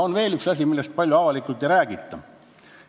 On veel üks asi, millest avalikult palju ei räägita.